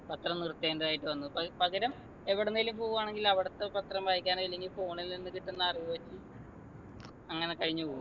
പത്രം നിർത്തേണ്ടതായിട്ടു വന്നു പ പകരം എവിടെന്നെലും പോവ്വാണെങ്കിൽ അവിടത്തെ പത്രം വായിക്കാനോ അല്ലെങ്കിൽ phone ൽ നിന്ന് കിട്ടുന്ന അറിവ് വച്ച് അങ്ങനെ കഴിഞ്ഞു പോവും